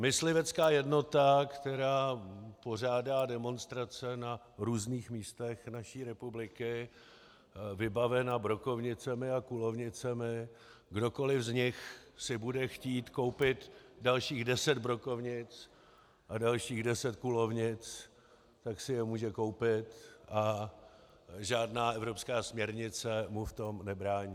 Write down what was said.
Myslivecká jednota, která pořádá demonstrace na různých místech naší republiky, vybavena brokovnicemi a kulovnicemi, kdokoliv z nich si bude chtít koupit dalších deset brokovnic a dalších deset kulovnic, tak si je může koupit a žádná evropská směrnice mu v tom nebrání.